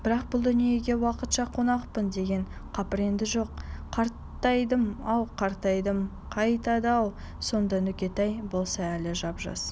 бірақ бұл дүниеге уақытша қонақпын деген қаперінде жоқ қартайдым-ау қайратым қайтады-ау сонда нүкетай болса әлі жап-жас